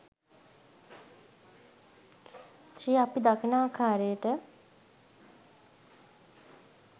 ස්ත්‍රිය අප දකින ආකාරයට